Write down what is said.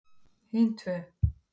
Hin tvö